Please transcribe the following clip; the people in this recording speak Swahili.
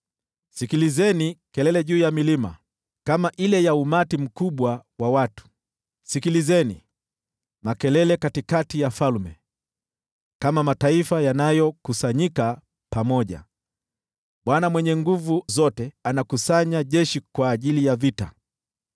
Sikilizeni kelele juu ya milima, kama ile ya umati mkubwa wa watu! Sikilizeni, makelele katikati ya falme, kama mataifa yanayokusanyika pamoja! Bwana Mwenye Nguvu Zote anakusanya jeshi kwa ajili ya vita.